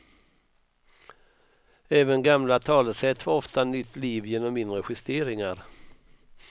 Även gamla talesätt får ofta nytt liv genom mindre justeringar.